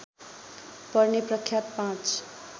पर्ने प्रख्यात पाँच